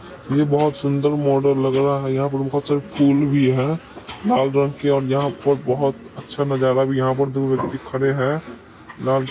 ये बहुत सुंदर मॉडल लग रहा है यहां पर फूल भी है यहां पर बहुत अच्छा नजारा भी-- यहां पर दो व्यक्ति खड़े हैं।----